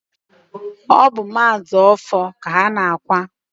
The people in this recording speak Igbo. ọ bụ Maazi Ọfọr ka a na-akwa.